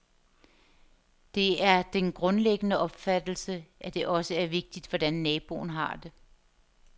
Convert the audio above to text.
Det er den grundlæggende opfattelse, at det også er vigtigt, hvordan naboen har det.